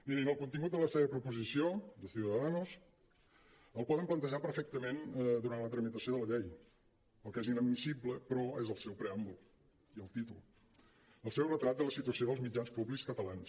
mirin el contingut de la seva proposició de ciudadanos el poden plantejar per·fectament durant la tramitació de la llei el que és inadmissible però és el seu preàm·bul i el títol el seu retrat de la situació dels mitjans públics catalans